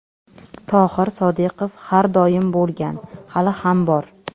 Tohir Sodiqov: Har doim bo‘lgan, hali ham bor.